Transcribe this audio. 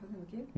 Tocando o quê?